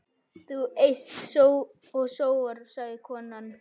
Þú eyst og sóar, sagði konan.